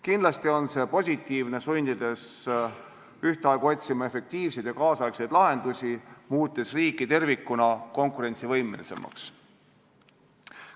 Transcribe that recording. Kindlasti on see positiivne, sest sunnib ühtaegu otsima efektiivseid ja kaasaegseid lahendusi, mis muudab riigi tervikuna konkurentsivõimelisemaks.